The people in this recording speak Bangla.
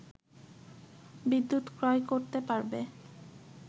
বিদ্যুৎ ক্রয় করতে পারবে